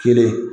Kelen